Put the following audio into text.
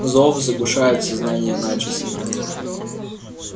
зов заглушает сознание начисто